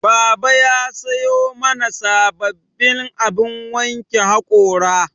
Baba ya sayo mana sababbin abin wanke haƙora